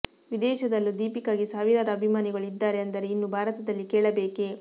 ವಿದೇಶದಲ್ಲೂ ದೀಪಿಕಾಗೆ ಸಾವಿರಾರು ಅಭಿಮಾನಿಗಳು ಇದ್ದಾರೆ ಅಂದರೆ ಇನ್ನು ಭಾರತದಲ್ಲಿ ಕೇಳಬೇಕೆ